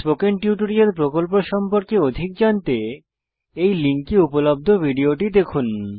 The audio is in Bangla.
স্পোকেন টিউটোরিয়াল প্রকল্প সম্পর্কে অধিক জানতে এই লিঙ্কে উপলব্ধ ভিডিওটি দেখুন